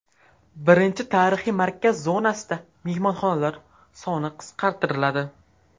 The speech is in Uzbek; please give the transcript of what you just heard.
Birinchi tarixiy markaz zonasida mehmonxonalar soni qisqartiriladi.